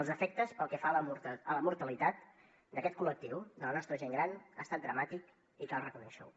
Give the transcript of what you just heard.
els efectes pel que fa a la mortalitat d’aquest col·lectiu de la nostra gent gran han estat dramàtics i cal reconèixer ho